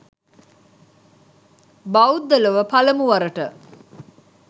බෞද්ධ ලොව පළමු වරට